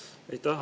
Aitäh!